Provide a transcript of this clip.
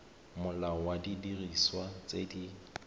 molao wa didiriswa tse di